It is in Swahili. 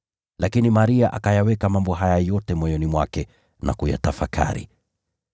Lakini Maria akayaweka mambo haya yote moyoni mwake na kuyatafakari.